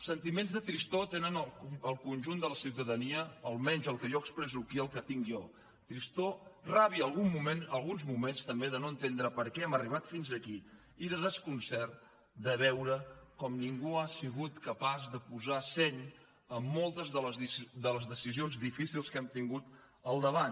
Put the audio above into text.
sentiments de tristor té el conjunt de la ciutadania almenys el que jo expresso aquí el que tinc jo tristor ràbia alguns moments també de no entendre per què hem arribat fins aquí i de desconcert de veure com ningú ha sigut capaç de posar seny en moltes de les decisions difícils que hem tingut al davant